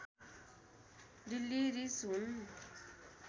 Delhi ridge हुन